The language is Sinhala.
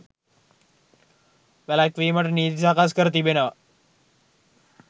වැළැක්වීමට නීති සකස් කර තිබෙනවා